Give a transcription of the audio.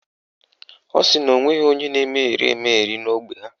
Ọ sị na o nweghị onye na-emegheri emegheri na ógbè ha